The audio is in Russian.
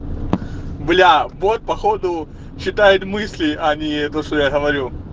блять вот походу читает мысли а не то что я говорю